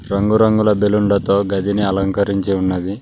రంగురంగుల బెలూన్ లతో గదిని అలంకరించి ఉన్నది.